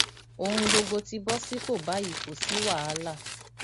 ohun gbogbo ti bọ sípò báyìí kò sí wàhálà